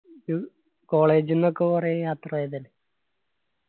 college ന്നൊക്കെ കൊറേ യാത്രേയതല്ലേ